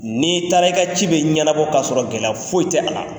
N'i taara i ka ci bɛ ɲɛnnabɔ k'a sɔrɔ gɛlɛ foyi tɛ a la